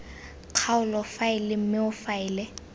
kgaolo faele mme o faele